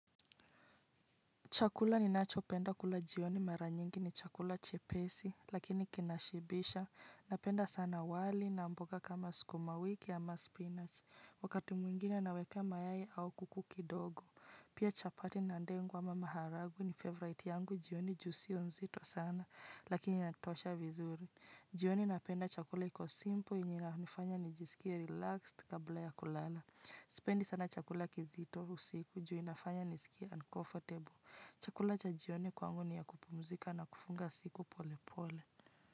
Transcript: Chakula ni nacho penda kula jioni mara nyingi ni chakula chepesi, lakini kinashibisha, napenda sana wali na mboga kama skuma wiki ama spinach, wakati mwingine nawekea mayai au kuku kidogo. Pia chapati na dengu ama maharagu ni favorite yangu jioni juu siyo nzito sana, lakini inatosha vizuri. Jioni napenda chakula ikosimple yenye inanifanya nijisikia relaxed kabla ya kulala. Sipendi sana chakula kizito usiku juu inafanya nisiki uncomfortable. Chakula cha jioni kwangu ni ya kupumzika na kufunga siku pole pole.